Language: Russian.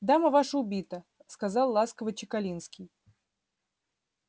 дама ваша убита сказал ласково чекалинский